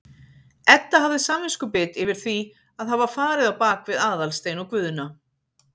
Edda hafði samviskubit yfir því að hafa farið á bak við Aðalstein og Guðna.